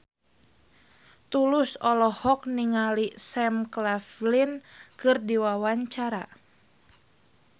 Tulus olohok ningali Sam Claflin keur diwawancara